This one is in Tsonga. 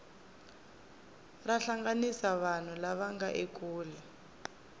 ra hlanganisa vanhu lava nga ekule